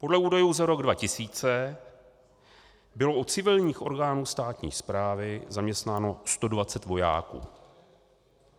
Podle údajů za rok 2000 bylo u civilních orgánů státní správy zaměstnáno 120 vojáků.